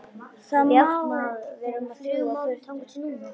Þá má hún fljúga burtu.